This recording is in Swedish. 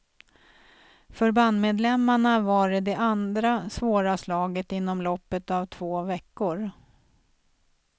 För bandmedlemmarna var det det andra svåra slaget inom loppet av två veckor.